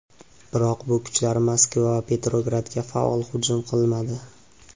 Biroq bu kuchlar Moskva va Petrogradga faol hujum qilmadi.